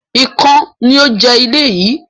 Ikán ni ó ń jẹ ilé yii